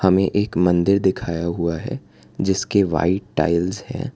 हमें एक मंदिर दिखाया हुआ है जिसके व्हाइट टाइल्स है।